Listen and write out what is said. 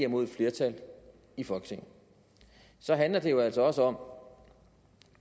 mod et flertal i folketinget så handler det jo altså også om